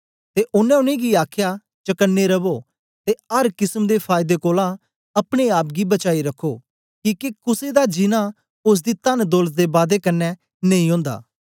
ते ओनें उनेंगी गी आखया चकने रवो ते अर किसम दे फायदे कोलां अपने आप गी बचाई रखो किके कुसे दा जीनां ओसदी तनदौलत दे बादे कन्ने नेई ओंदा